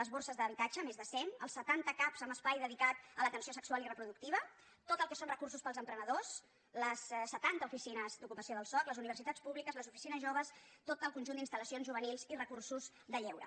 les borses d’habitatge més de cent els setanta cap amb espai dedicat a l’atenció sexual i reproductiva tot el que són recursos per als emprenedors les setanta oficines d’ocupació del soc les universitats públiques les oficines joves tot el conjunt d’instal·lacions juvenils i recursos de lleure